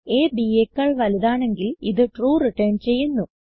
അ b യെക്കാൾ വലുതാണെങ്കിൽ ഇത് ട്രൂ റിട്ടർൻ ചെയ്യുന്നു